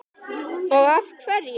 Og af hverju.